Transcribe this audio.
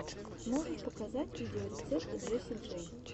можешь показать видеорецепт джесси джей